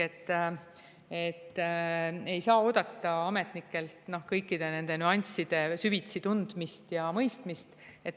Ei saa oodata ametnikelt kõikide nüansside süvitsi tundmist ja mõistmist.